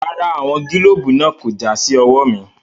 Rárá, àwọn gílóòbù náà kò já sí ọwọ́ mi.